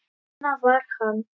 Svona var hann.